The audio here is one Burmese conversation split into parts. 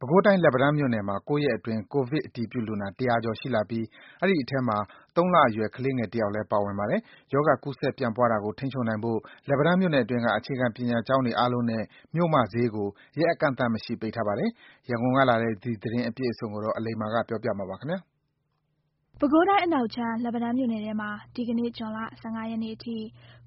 ပဲခူးတိုင်း၊ လက်ပံတန်းမြို့နယ်မှာ ၉ ရက်အတွင်း ကိုဗစ်အတည်ပြုလူနာ ၁၀၀ ကျော်ရှိလာပြီး အဲဒီထဲမှာ ၃ လအရွယ်ငယ်တဲ့ ကလေးငယ်တယောက်လည်း ပါပါတယ်။ ရောဂါကူးစက်ပြန့်ပွားတာကို ထိန်းချုပ်နိုင်ဖို့ လက်ပံတန်းမြို့နယ်အတွင်းက အခြေခံပညာကျောင်းတွေအားလုံးနဲ့ မြို့မဈေးကို ရက်အကန့်အသတ်မရှိ ပိတ်ထားပါတယ်။ ရန်ကုန်ကလာတဲ့ ဒီသတင်းအပြည့်အစုံကိုတော့ အလိမ္မာ ပြောပြမှာပါ။ ပဲခူးတိုင်း (အနောက်)၊ လက်ပံတန်းမြို့နယ်ထဲမှာ ဒီကနေ့ ဇွန်လ ၁၅ ရက်နေ့အထိ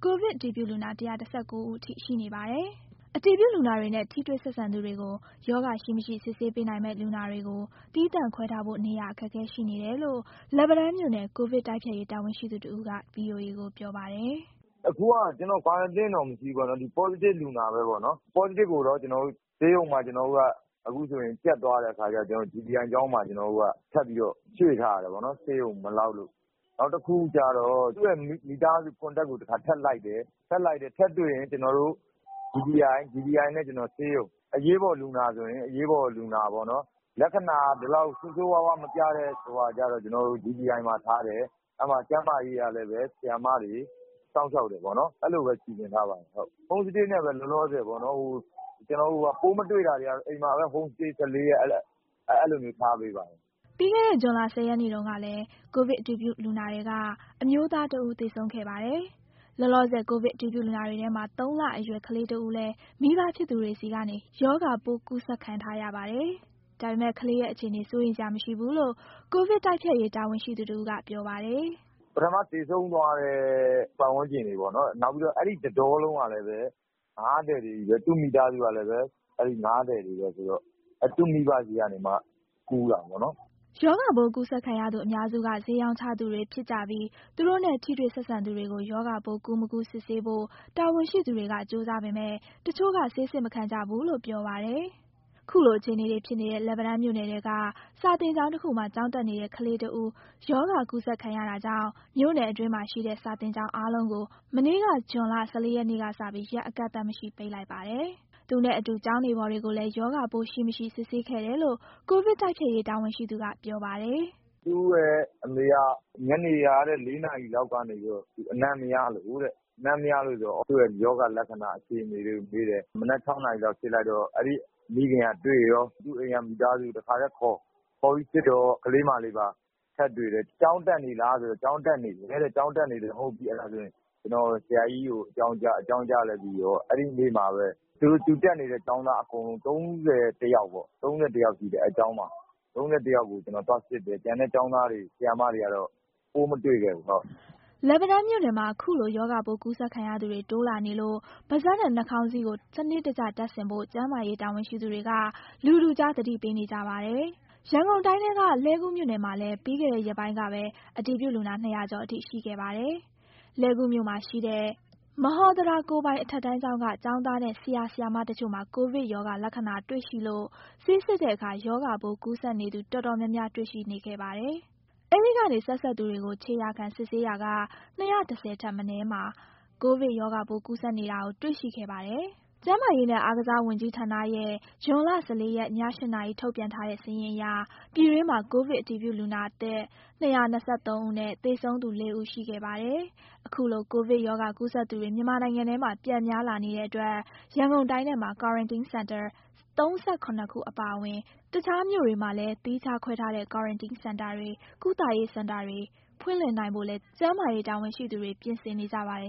ကိုဗစ်အတည်ပြုလူနာ ၁၁၉ ဦးအထိရှိနေပါတယ်။ အတည်ပြုလူနာတွေနဲ့ ထိတွေ့ဆက်စပ်သူတွေကို ရောဂါ ရှိ မရှိ ဆေးစစ်ပေးနိုင်ပေမဲ့ လူနာတွေကို သီးသန့်ခွဲထားဖို့ နေရာအခက်အခဲ ရှိနေတယ်လို့ လက်ပံတန်းမြို့နယ် ကိုဗစ်တိုက်ဖျက်ရေး တာဝန်ရှိသူတဦးက ဗွီအိုအေကိုပြောပါတယ်။ "အခုက ကျနော်တို့ Quarantine တော့ မရှိဘူးပေါ့နော်။ Positive လူနာကိုကျတော့ အခုကဆေးရုံမှာ ကြပ်သွားတဲ့အခါကျတော့ GTI ကျောင်းမှာ ထပ်ရွှေ့ထားရတယ်ပေါ့နော်၊ ဆေးရုံမလောက်လို့။ နောက်တခုကကျတော့ သူ့ရဲ့ Contact ကိုထပ်လိုက်တယ်။ ထပ်တွေ့ရင် ကျနော်တို့က GTI နဲ့ ဆေးရုံမှာထားတယ်။ အရေးပေါ်လူနာဆိုရင်တော့ ဆေးရုံပေါ့နော်။ လက္ခဏာဆိုးဆိုးရွားရွား မပြတဲ့လူနာကျတော့ GTI မှာထားတယ်။ အဲဒီမှာ ကျန်းမာရေးကလည်း ဆရာမတွေစောင့်ရှောက်တယ်ပေါ့နော်။ အဲဒီလိုပဲ စီစဉ်ထားပါတယ်။ ပိုးမတွေ့ရင်တော့ အိမ်မှာပဲ ၁၄ရက် Home Stay နဲ့ အဲလိုမျိုးထားပေးပါတယ်။" ပြီးခဲ့တဲ့ ဇွန်လ ၁၀ ရက်နေ့တုန်းကလည်း ကိုဗစ်အတည်ပြုလူနာတွေထဲက အမျိုးသားတဦး သေဆုံးခဲ့ပါတယ်။ လောလောဆယ် ကိုဗစ်အတည်ပြုလူနာတွေထဲမှာ ၃လအရွယ်ကလေးငယ်တဦးလည်း မိဘဖြစ်သူတွေဆီကနေ ရောဂါပိုးကူးစက်ခံထားရပါတယ်။ ဒါပေမဲ့ ကလေးငယ်ရဲ့ အခြေအနေ စိုးရိမ်စရာမရှိဘူးလို့ ကိုဗစ်တိုက်ဖျက်ရေးတာဝန်ရှိသူကပြောပါတယ်။ "ပထမ သေဆုံးသွားသူရဲ့ ပတ်ဝန်းကျင်ပေါ့နော်။ နောက်ပြီးတော့ အဲဒီတကျောင်းလုံးကလည်း ငါးသည်တွေချည်းပဲ။ သူ့မိသားစုကလည်းပဲ အဲဒီငါးသည်တွေပဲဆိုတော့ သူ့မိဘဆီကနေ ကူးတာပေါ့နော်။" ရောဂါပိုးကူးစက်ခံရသူအများစုက ဈေးရောင်းချသူတွေဖြစ်ကြပြီးသူတို့နဲ့ ထိတွေ့ဆက်စပ်သူတွေကို ရောဂါပိုး ကူး မကူး ဆေးစစ်ဖို့ တာဝန်ရှိသူတွေက ကြိုးစားပေမဲ့ တချို့က ဆေးစစ် မခံကြဘူးလို့ ပြောပါတယ်။ ခုလိုအခြေအနေဖြစ်နေတဲ့ လက်ပံတန်းမြို့နယ်ထဲက စာသင်ကျောင်းတခုမှာ ကျောင်းတက်နေတဲ့ကလေးတဦး ရောဂါကူးစက်ခံရတာကြောင့် မြို့နယ်အတွင်းမှာရှိတဲ့ စာသင်ကျောင်းတွေအားလုံးကို မနေ့က ဇွန်လ ၁၄ ရက်နေ့ကစပြီး ရက်အကန့်အသတ်မရှိ ပိတ်လိုက်ပါတယ်။ သူနဲ့အတူ ကျောင်းနေဖော်တွေကိုလည်း ရောဂါပိုးရှိ၊ မရှိ စစ်ဆေးခဲ့တယ်လို့ ကိုဗစ်တိုက်ဖျက်ရေး တာဝန်ရှိသူက ပြောပါတယ်။ "သူ့ရဲ့အမေက ညနေ ၄နာရီလောက်ကတည်းက အနံ့မရလို့ဆိုတော့ သူ့ရဲ့ရောဂါ လက္ခဏာအခြေအနေတွေကိုမေးတယ်။ မနက် ၆ နာရီလောက်စစ်လိုက်တော့ သူ့မှာပိုးတွေ့တယ်။ သူ့အိမ်က မိသားစုကိုပါ တခါတည်းခေါ်စစ်တော့ ကလေးမလေးပါ ထပ်တွေ့တယ်။ ကျောင်းတက်နေတာဆိုတော့ သူ့ကျောင်းကဆရာကြီးကို အကြောင်းကြားပြီး အဲဒီနေ့မှာပဲ သူတို့အတူအဲဒီကျောင်းမှာတက်နေတဲ့ ကျောင်းသားအကုန် ၃၁ယောက်ရှိတယ်။ ၃၁ယောက်ကို သွားစစ်တယ်။ ကျန်တဲ့ ကျောင်းသားတွေ၊ ဆရာမတွေကတော့ ပိုးမတွေ့ခဲ့ဘူး။" လက်ပံတန်းမြို့နယ်မှာ အခုလိုရောဂါကူးစက်ခံရသူတွေ တိုးလာနေလို့ ပါးစပ်နဲ့နှာခေါင်းစည်းတို့ကို စနစ်တကျတပ်ဆင်ဖို့ ကျန်းမာရေးတာဝန်ရှိသူတွေက လူထုကြား သတိပေးနေကြပါတယ်။ ရန်ကုန်တိုင်းထဲက လှည်းကူးမြို့နယ်မှာလဲ ပြီးခဲ့တဲ့ရက်ပိုင်းကပဲ အတည်ပြုလူနာ ၂၀၀ ကျော်အထိ ရှိခဲ့ပါတယ်။ လှည်းကူးမြို့မှာရှိတဲ့ မဟော်သဓာကိုယ်ပိုင်အထက်တန်းကျောင်းက ကျောင်းသားနဲ့ ဆရာ ဆရာမတချို့ မှာ ကိုဗစ် ရောဂါလက္ခဏာတွေ့ရှိလို့ ဆေးစစ်တဲ့အခါ ရောဂါပိုးကူးစက်နေသူတော်တော်များများ တေ့ွရှိခဲ့ပါတယ်။ အဲဒီကနေ ဆက်စပ်သူတွေကို ခြေရာခံ စစ်ဆေးရာက ၂၁၀ ထက်မနည်းမှာ ကိုဗစ်ရောဂါပိုး ကူးစက်နေတာကို တေ့ွရှိခဲ့ပါတယ်။ ကျန်းမာရေးနဲ့ အားကစားဝန်ကြီးဌာနရဲ့ ဇွန်လ ၁၄ရက်၊ ည ၈နာရီ ထုတ်ပြန်ထားတဲ့စာရင်းအရ ပြည်တွင်းမှာ ကိုဗစ်အတည်ပြုလူနာသစ် ၂၂၃ ဦးနဲ့ သေဆုံးသူ ၄ ဦး ရှိခဲ့ပါတယ်။ အခုလို ကိုဗစ်ကပ်ရောဂါကူးစက်သူတွေ မြန်မာနိုင်ငံထဲမှာ ပြန်များလာနေတဲ့အတွက် ရန်ကုန်တိုင်းထဲမှာ ကွာရန်တင်းစင်တာ ၃၇ ခုအပါအဝင် တခြားမြို့တွေမှာလည်း သီးခြားခွဲထားတဲ့ ကွာရန်တင်းစင်တာတွေ၊ ကုသရေးစင်တာတွေ ဖွင့်လှစ်နိုင်ဖို့လည်း ကျန်းမာရေးတာဝန်ရှိသူတွေ ပြင်ဆင်နေကြပါတယ်